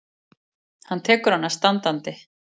Hann tekur hana standandi.